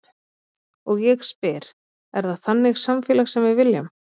Og ég spyr, er það þannig samfélag sem við viljum?